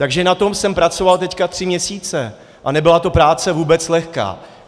Takže na tom jsem pracoval teď tři měsíce a nebyla to práce vůbec lehká.